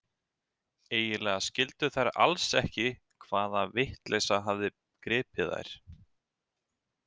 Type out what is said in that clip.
Eiginlega skildu þær alls ekki hvaða vitleysa hafði gripið þær.